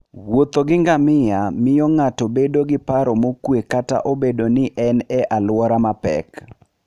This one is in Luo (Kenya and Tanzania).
Wuotho gi ngamia miyo ng'ato bedo gi paro mokuwe kata obedo ni en e alwora mapek.